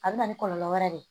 A bɛ na ni kɔlɔlɔ wɛrɛ ye